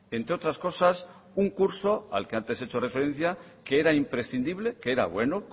entre otras cosas un curso al que antes he hecho referencia que era imprescindible que era bueno